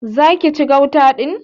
Zaki ci gauta din?